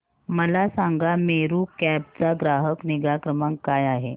मला सांगा मेरू कॅब चा ग्राहक निगा क्रमांक काय आहे